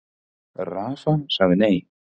Rafa sagði nei.